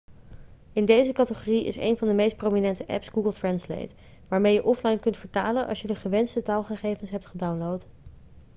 in deze categorie is een van de meest prominente apps google translate waarmee je offline kunt vertalen als je de gewenste taalgegevens hebt gedownload